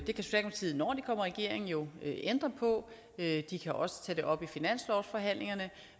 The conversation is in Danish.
regering jo ændre på de kan også tage det op i finanslovsforhandlingerne